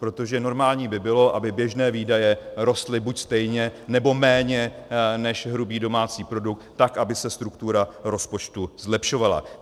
Protože normální by bylo, aby běžné výdaje rostly buď stejně, nebo méně než hrubý domácí produkt, tak, aby se struktura rozpočtu zlepšovala.